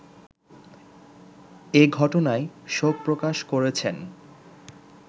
এ ঘটনায় শোক প্রকাশ করেছেন